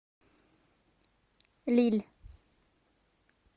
лилль